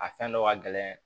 A fɛn dɔ ka gɛlɛn